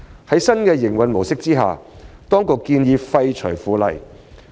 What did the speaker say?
在新的營運模式下，當局建議廢除《附例》。